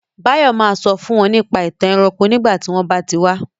Báyọ̀ ma sọ fún wọn nípa ìtàn ẹranko nígbà tí wọ́n bá ti wá